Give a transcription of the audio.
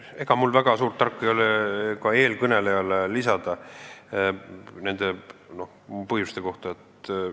Ega mul midagi väga tarka ei ole nende põhjuste kohta öelda.